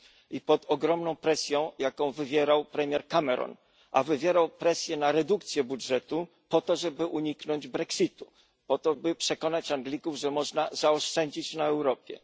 i pod ogromną presją, jaką wywierał premier Cameron, a wywierał presję na redukcję budżetu po to, żeby uniknąć Brexitu, po to by przekonać Anglików, że można zaoszczędzić na Europie.